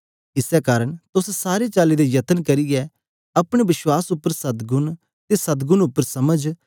इस्से कारन तुस सारे चली दा यत्न करचै अपने बश्वास उप्पर सद्गुण अते सद्गुण उप्पर समझ